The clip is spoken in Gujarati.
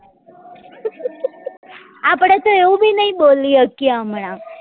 આપડે તો એવું બી નહિ બોલી હકીએ હમણાં